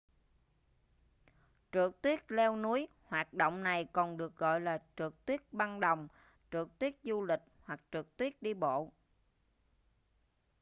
trượt tuyết leo núi hoạt động này còn được gọi là trượt tuyết băng đồng trượt tuyết du lịch hoặc trượt tuyết đi bộ